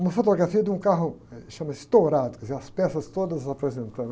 Uma fotografia de um carro, eh, chama estourado, quer dizer, as peças todas apresentando